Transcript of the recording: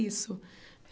Isso.